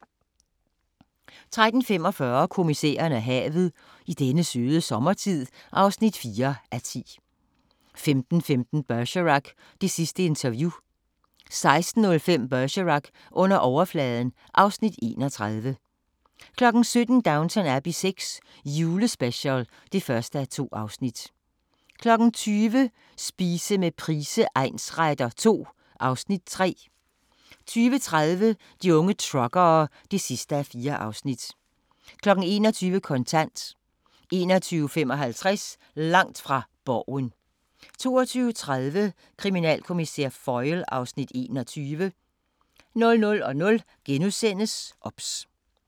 13:45: Kommissæren og havet: I denne søde sommertid (4:10) 15:15: Bergerac: Det sidste interview 16:05: Bergerac: Under overfladen (Afs. 31) 17:00: Downton Abbey VI – julespecial (1:2) 20:00: Spise med Price egnsretter II (Afs. 3) 20:30: De unge truckere (4:4) 21:00: Kontant 21:55: Langt fra Borgen 22:30: Kriminalkommissær Foyle (Afs. 21) 00:00: OBS *